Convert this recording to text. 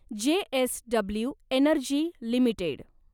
JSW energy limited